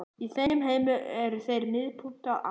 Í þeim heimi eru þeir miðpunktar alls.